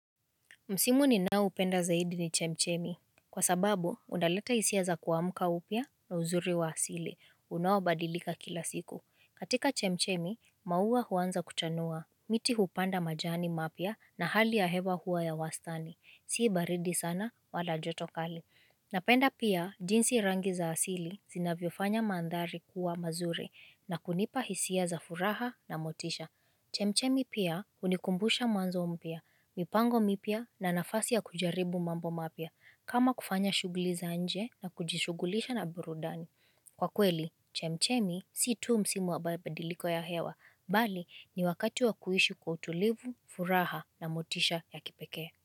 Msimu ninaoupenda zaidi ni chemchemi. Kwa sababu, undaleta hisia za kuamka upya na uzuri wa asili. Unaobadilika kila siku. Katika chemchemi, maua huanza kuchanua. Miti hupanda majani mapya na hali ya hewa hua ya wastani. Si baridi sana wala joto kali. Napenda pia, jinsi rangi za asili zinavyofanya maandhari kuwa mazuri. Na kunipa hisia za furaha na motisha. Chemchemi pia, hunikumbusha mwanzo mpia. Mipango mipya na nafasi ya kujaribu mambo mapya kama kufanya shuguli za nje na kujishugulisha na burudani Kwa kweli, chemchemi si tu msimu wa mabadiliko ya hewa Bali ni wakati wa kuishi kwa utulivu, furaha na motisha ya kipekee.